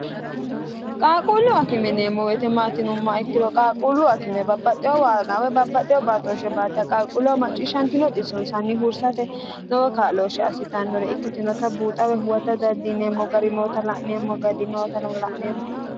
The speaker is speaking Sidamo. qaaquullu akime yineemmo woyite maati yinummoha ikkiro qaalquullu akime babbaxxewo waagga woy babbaxxeo baatooshshe baatta qaalquulluwa macciishshantino xissonsanni hursate lowo kaa'looshshe assitannore ikkitinota buuxa woy huwata dandiineemmo gari noota la'neemmo.